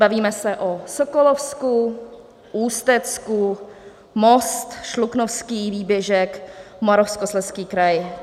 Bavíme se o Sokolovsku, Ústecku, Most, Šluknovský výběžek, Moravskoslezský kraj.